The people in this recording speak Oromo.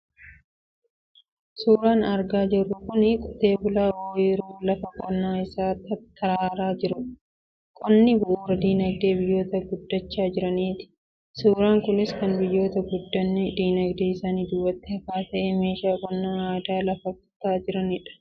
Suuraan argaa jirru kun, qotee bulaa ooyiruu lafa qonnaa isaa tattaraaraa jirudha. Qonni bu'uura dinagdee biyyoota guddachaa jiraniiti. Suuraan kunis kan biyyoota guddinni dinagdee isaanii duubatti hafaa ta'ee, meeshaa qonnaa aadaan lafa qotaa jiranii kan mul'isudha.